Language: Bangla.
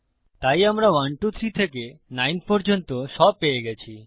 তাই আমরা 1 2 3 থেকে 9 পর্যন্ত সব পেয়ে গেছি